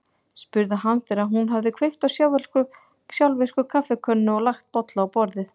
spurði hann þegar hún hafði kveikt á sjálfvirku kaffikönnunni og lagt bolla á borðið.